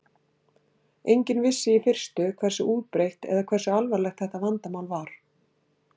Enginn vissi í fyrstu hversu útbreitt eða hversu alvarlegt þetta vandamál var.